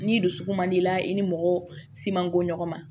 Ni dusukun man di la i ni mɔgɔ si man ko ɲɔgɔn ma